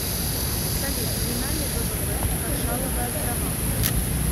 салют номинальный ввп маршалловы острова